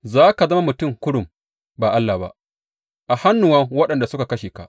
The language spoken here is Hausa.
Za ka zama mutum kurum, ba allah ba, a hannuwan waɗanda suka kashe ka.